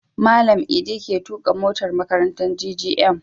Malan idi ke tuƙa motar makarantar GGM